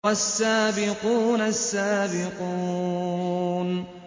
وَالسَّابِقُونَ السَّابِقُونَ